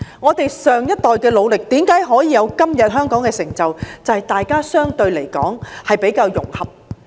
我們上一代的努力，為何可以達致香港今天的成就，正是因為大家比較融合。